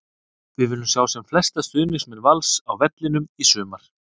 Við viljum sjá sem flesta stuðningsmenn Vals á vellinum í sumar!